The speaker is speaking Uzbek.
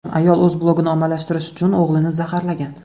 Ayol o‘z blogini ommalashtirish uchun o‘g‘lini zaharlagan.